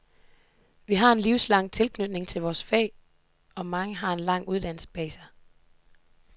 Vi har en livslang tilknytning til vort fag, og mange har en lang uddannelse bag sig.